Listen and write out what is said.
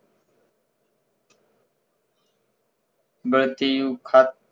બતિયું ખાત